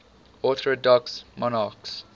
orthodox monarchs